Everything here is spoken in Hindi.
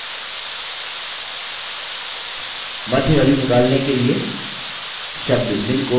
मध्य value निकलने के लिए शब्द min को median से बदलें